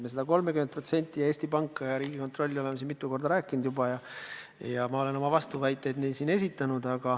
Me sellest 30%-st ja Eesti Pangast ja Riigikontrollist oleme siin juba mitu korda rääkinud ja ma olen oma vastuväited esitanud.